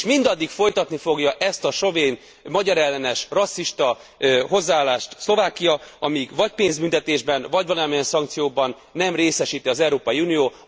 És mindaddig folytatni fogja ezt a sovén, magyarellenes, rasszista hozzáállást Szlovákia, amíg vagy pénzbüntetésben, vagy valamilyen szankcióban nem részesíti az Európai Unió.